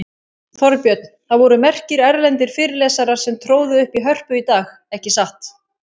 Þorbjörn, það voru merkir erlendir fyrirlesarar sem tróðu upp í Hörpu í dag, ekki satt?